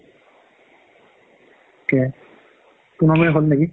থিকে পোন্ধৰ minute হ'ল নেকি